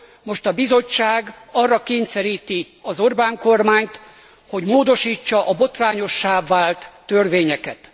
Most a Bizottság arra kényszeríti az Orbán kormányt, hogy módosítsa a botrányossá vált törvényeket.